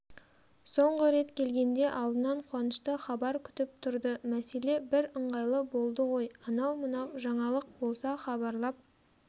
соңғы рет келгенде алдынан қуанышты хабар күтіп тұрды мәселе бірыңғайлы болды ғой анау-мынау жаңалық болса хабарлап